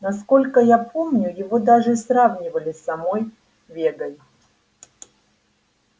насколько я помню его даже сравнивали с самой вегой